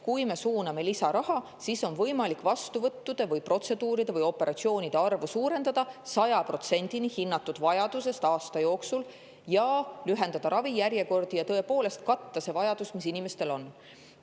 Kui me suuname sinna lisaraha, siis on võimalik vastuvõttude, protseduuride või operatsioonide arvu suurendada 100%-ni hinnatud vajadusest aasta jooksul, lühendada ravijärjekordi ja tõepoolest katta see vajadus, mis inimestel on.